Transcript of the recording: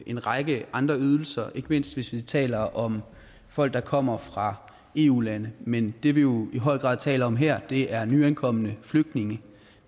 en række andre ydelser ikke mindst hvis vi taler om folk der kommer fra eu lande men det vi jo i høj grad taler om her er nyankomne flygtninge